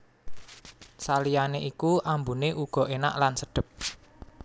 Saliyane iku ambune uga enak lan sedhep